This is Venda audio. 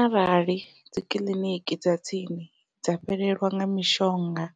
Arali dzikiḽiniki dza tsini dza fhelelwa nga mishonga